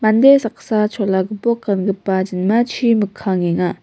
saksa chola gipok gangipa jinmachi mikkangenga.